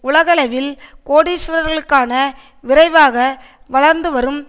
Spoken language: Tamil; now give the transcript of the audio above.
உலகளவில் கோடீஸ்வரர்களுக்கான விரைவாக வளர்ந்து வரும்